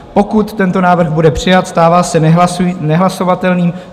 Pokud tento návrh bude přijat, stává se nehlasovatelným.